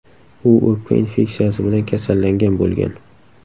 U o‘pka infeksiyasi bilan kasallangan bo‘lgan.